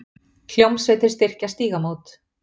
Hljómsveitir styrkja Stígamót